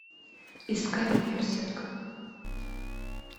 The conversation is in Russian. искать берсерк